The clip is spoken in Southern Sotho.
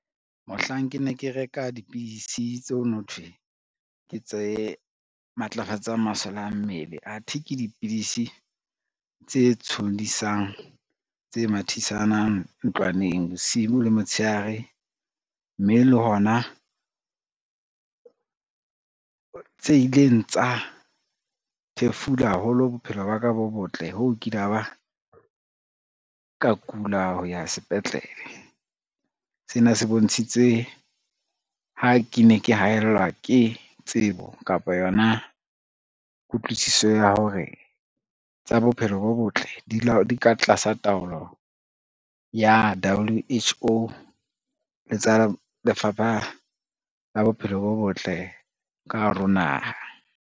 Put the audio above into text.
Mohlang ke ne ke reka dipidisi tseo nothwe ke tse matlafatsa masole a mmele athe ke dipidisi tse tshollisang, tse mathisanang ntlwaneng bosibu le motshehare, mme le hona tse ileng tsa thefula haholo bophelo ba ka bo botle ho kila ba ka kula ho ya sepetlele. Sena se bontshitse ha ke ne ke haellwa ke tsebo kapa yona kutlwisiso ya hore tsa bophelo bo botle di ka tlasa taolo ya W_H_O le tsa lefapha la bophelo bo botle ka hare ho naha.